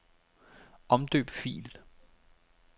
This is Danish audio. Omdøb fil.